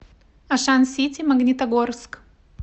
ашан сити магнитогорск